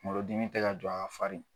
Kunkolodimi tɛ ka jɔ, a ka farin